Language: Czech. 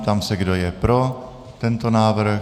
Ptám se, kdo je pro tento návrh.